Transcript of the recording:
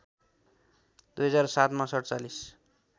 २००७ मा ४७